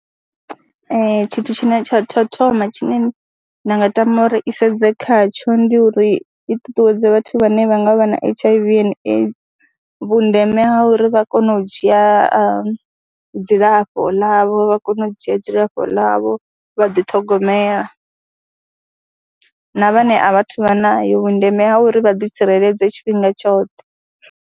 Tshithu tshine tsha tou thoma tshine nda nga tama uri i sedze khatsho ndi uri i ṱuṱuwedze vhathu vhane vha nga vha na H_I_V and AIDS vhundeme ha uri vha kone u dzhia a dzilafho ḽavho vha kone u dzhia dzilafho ḽavho, vha dithogomela na vhane a vha a thu vha nayo vhundeme ha uri vha ḓitsireledze tshifhinga tshoṱhe.